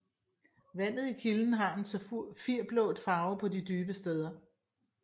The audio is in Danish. Vandet i kilden har en safirblå farve på de dybe steder